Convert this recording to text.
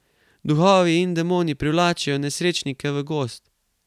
Duhovi in demoni privlačijo nesrečnike v gozd.